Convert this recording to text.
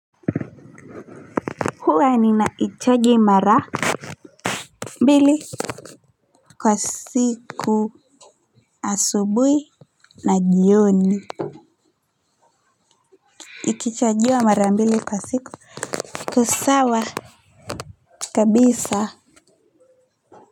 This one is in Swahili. Huwa ninaichaji mara mbili kwa siku asubuhi na jioni. Ikichajiwa mara mbili kwa siku iko sawa kabisa.